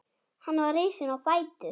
Hann var risinn á fætur.